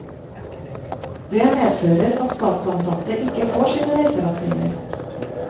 Det medfører at statsansatte ikke får sine reisevaksiner.